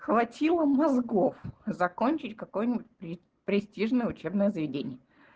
хватило мозгов закончить какой-нибудь при престижное учебное заведение